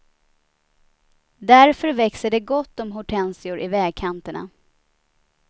Därför växer det gott om hortensior i vägkanterna.